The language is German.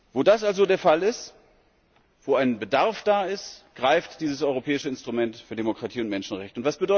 Wo das also der Fall ist, wo ein Bedarf da ist, greift dieses europäische Instrument für Demokratie und Menschenrechte.